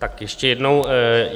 Tak ještě jednou.